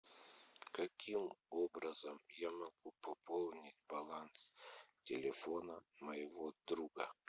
каким образом я могу пополнить баланс телефона моего друга